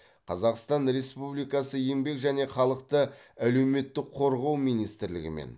қазақстан республикасы еңбек және халықты әлеуметтік қорғау министрлігімен